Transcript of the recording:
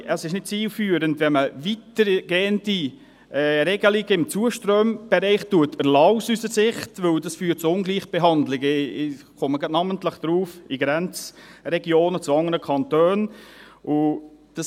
Es ist aus unserer Sicht nicht zielführend, wenn man weitergehende Regelungen im Zuströmbereich erlässt, weil dies zu Ungleichbehandlungen – ich komme gleich namentlich darauf – in Grenzregionen zu anderen Kantonen führt.